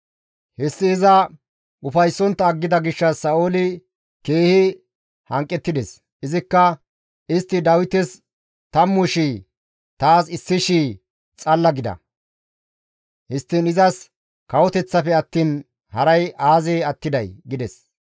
Hessi iza ufayssontta aggida gishshas Sa7ooli keehi hanqettides; izikka, «Istti Dawites tammu shii, taas issi shii xalla gida! Histtiin izas kawoteththafe attiin haray aazee attiday!» gides.